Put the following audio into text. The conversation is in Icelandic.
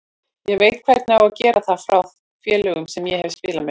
Ég veit hvernig á að gera það frá þeim félögum sem ég hef spilað með.